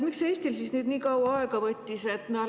Miks Eestil siis nüüd nii kaua aega võttis?